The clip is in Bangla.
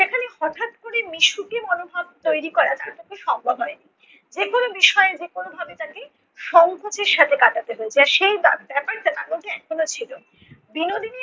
সেখানে হঠাৎ করে মিশুকে মনোভাব তৈরী করা তার পক্ষে সম্ভব হয় নি। যেকোনো বিষয়ে যেকোনো ভাবে তাকে সংকোচের সাথে কাটাতে হয়েছে আর সেই বার~ ব্যাপারটা তার মধ্যে এখনও ছিল। বিনোদিনী